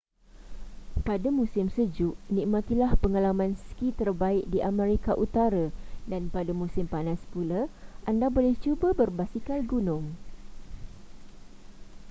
pada musim sejuk nikmatilah pengalaman ski terbaik di amerika utara dan pada musim panas pula anda boleh cuba berbasikal gunung